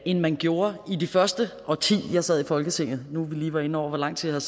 end man gjorde i det første årti jeg sad i folketinget nu hvor vi lige var inde over hvor lang tid jeg